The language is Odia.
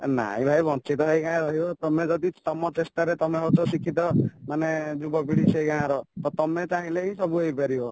ନାଇଁ ଭାଇ ବଂଚିତ ହେଇ କାଇଁ ରହିବ ତମେ ଯଦି ତମ ଚେଷ୍ଟାରେ ତମେ ହଉଚ ଶିକ୍ଷିତ ମାନେ ଯୁବପିଢ଼ି ସେଇ ଗାଁର ତ ତମେଚାହିଁଲେ ହିଁ ସବୁହେଇପାରିବ